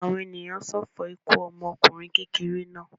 Àwọn ènìyàn ń ṣọ̀fọ̀ ikú ọmọkùnrin kékeré náà.